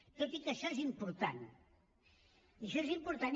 tot i que això és important això és important